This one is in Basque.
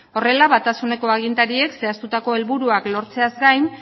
horrela batasuneko agintariek zehaztutako helburuak lortzeaz gain